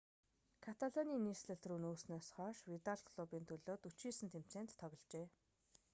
каталаны нийслэл рүү нүүснээс хойш видал клубын төлөө 49 тэмцээнд тогложээ